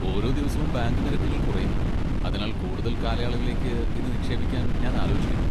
ഓരോ ദിവസവും ബാങ്ക് നിരക്കുകൾ കുറയുന്നു, അതിനാൽ കൂടുതൽ കാലയളവിലേക്ക് ഇത് നിക്ഷേപിക്കാൻ ഞാൻ ആലോചിക്കുന്നു.